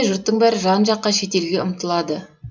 жұрттың бәрі жан жаққа шетелге ұмтылады